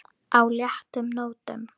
á léttum nótum.